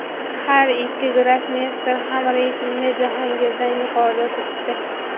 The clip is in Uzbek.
Har ikki grossmeyster ham reytingda Jahongirdan yuqorida turibdi.